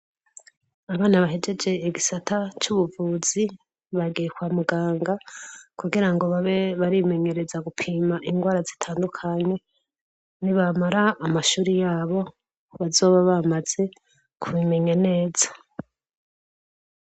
Abana bahegeje igisata c'ubuvuzi bagiye kwa muganga kugira ngo babe barimenyereza gupima ingwara zitandukanye. Nibamara amashuri yabo, bazobe bamaze kubimenye neza.